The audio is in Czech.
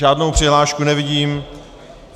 Žádnou přihlášku nevidím.